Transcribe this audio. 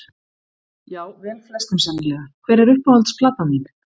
já vel flestum sennilega Hver er uppáhalds platan þín?